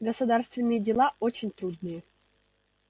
государственные дела очень трудные